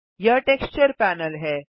यह texture panel है